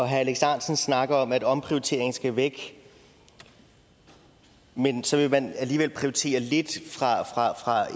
alex ahrendtsen snakker om at omprioriteringen skal væk men så vil man alligevel prioritere lidt